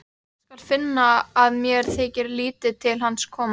Hann skal finna að mér þykir lítið til hans koma.